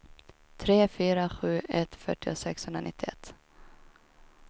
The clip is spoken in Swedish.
tre fyra sju ett fyrtio sexhundranittioett